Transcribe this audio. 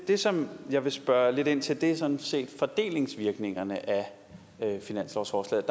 det som jeg vil spørge lidt ind til er sådan set fordelingsvirkningerne af finanslovsforslaget